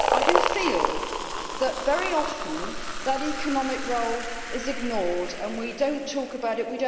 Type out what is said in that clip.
I feel that, very often, that economic role is ignored, and we do not talk about it